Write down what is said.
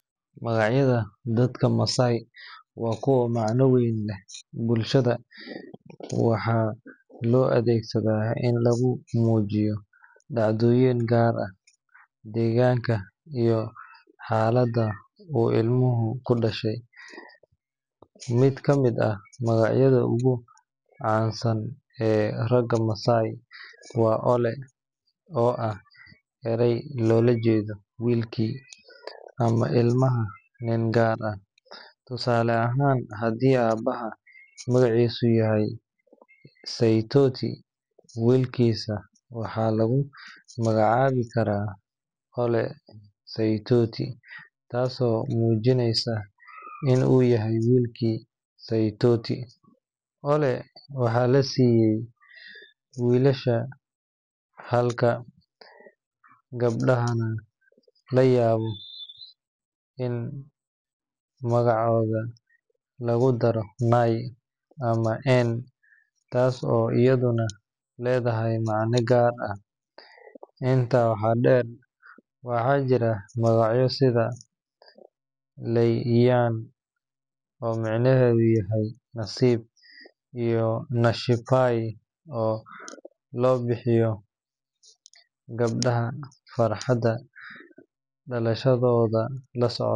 Magacyada dadka Maasai waa kuwo macno weyn u leh bulshada, waxaana loo adeegsadaa in lagu muujiyo dhacdooyin gaar ah, deegaanka, iyo xaaladda uu ilmuhu ku dhashay. Mid ka mid ah magacyada ugu caansan ee ragga Maasai waa Ole, oo ah eray loola jeedo "wiilkii" ama ilmaha nin gaar ah. Tusaale ahaan, haddii aabbaha magaciisu yahay Saitoti, wiilkiisa waxaa lagu magacaabi karaa Ole Saitoti, taasoo muujinaysa in uu yahay wiilkii Saitoti. Ole waxaa la siiyaa wiilasha, halka gabdhaha laga yaabo in magacyadooda lagu daro Nai ama En, taas oo iyaduna leedahay macne gaar ah. Intaa waxaa dheer, waxaa jira magacyo sida Lemayian oo micnihiisu yahay "nasiib", iyo Nashipai oo loo bixiyo gabdhaha farxadda dhalashadooda la socoto.